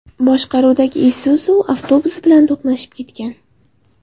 boshqaruvidagi Isuzu avtobusi bilan to‘qnashgan.